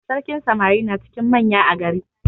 Sarkin samari na cikin manya a gari.